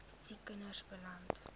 siek kinders beland